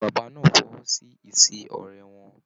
Bàbá náà fọwọsi ise ọrẹ wọn.